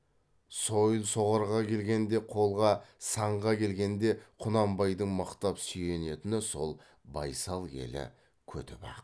сойыл соғарға келгенде қолға санға келгенде құнанбайдың мықтап сүйенетіні сол байсал елі көтібақ